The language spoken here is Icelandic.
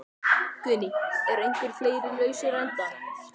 Guðný: Eru einhverjir fleiri lausir endar?